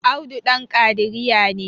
Audu Dan kadiriya ne